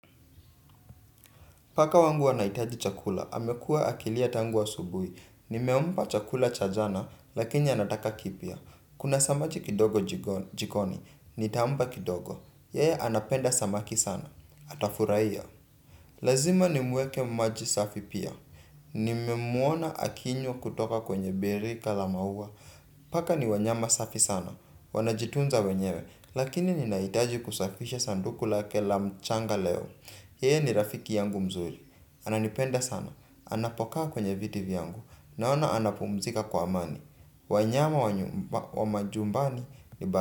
Paka wangu anahitaji chakula. Amekuwa akilia tangu asubuhi. Nimempa chakula cha jana, lakini anataka kipya. Kuna samaki kidogo jikoni, nitampa kidogo. Yeye anapenda samaki sana. Atafurahia. Lazima nimwekee maji safi pia. Nimemwona akinywa kutoka kwenye birika la maua. Paka ni wanyama safi sana. Wanajitunza wenyewe, lakini ninahitaji kusafisha sanduku lake la mchanga leo. Yeye ni rafiki yangu mzuri. Ananipenda sana. Anapokaa kwenye viti vyangu. Naona anapumzika kwa amani. Wanyama wa majumbani ni baadhi.